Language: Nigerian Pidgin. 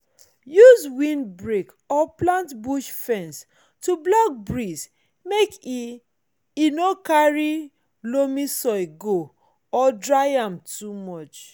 use windbreak or plant bush fence to block breeze make e e no carry loamy soil go or dry am too much